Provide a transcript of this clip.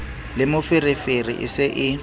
le moferefere e se e